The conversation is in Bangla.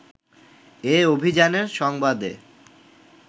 এ অভিযানের সংবাদে